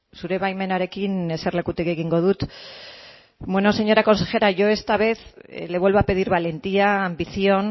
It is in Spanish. zure baimenarekin eserlekutik egingo dut bueno señora consejera yo esta vez le vuelvo a pedir valentía ambición